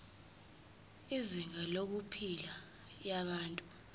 izinga lempilo yabantu